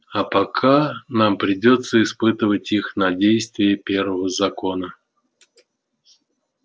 а пока нам придётся испытывать их на действие первого закона